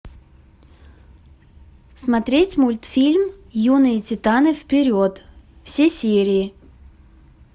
смотреть мультфильм юные титаны вперед все серии